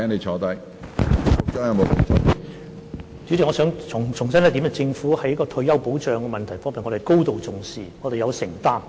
主席，我想重申一點，政府在退休保障方面是高度重視，而且有承擔的。